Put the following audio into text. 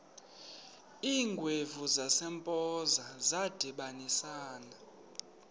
iingwevu zasempoza zadibanisana